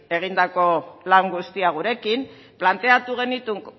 egindako lan guztia gurekin planteatu genituen